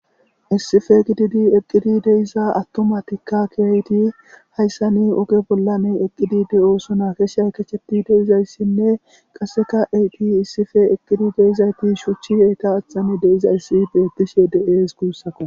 Issife gididi eqqidi deissa attomatikka keeyti hayssa ni oge bollani eqqidi de'osona keshe haykacheti deizayssinne qasseka eiti issife eqqidi deizayti shuchchi yeyta athani deizayssi beettishe de'ees guussako.